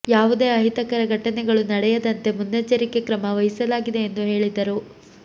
ಯಾವುದೇ ಅಹಿತಕರ ಘಟನೆಗಳು ನಡೆಯದಂತೆ ಮುನ್ನೆಚ್ಚರಿಕೆ ಕ್ರಮ ವಹಿಸಲಾಗಿದೆ ಎಂದು ಹೇಳಿದರು